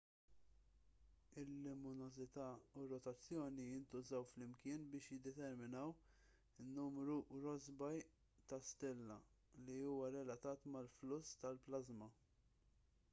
il-luminożità u r-rotazzjoni jintużaw flimkien biex jiddeterminaw in-numru rossby ta' stilla li huwa relatat mal-fluss tal-plażma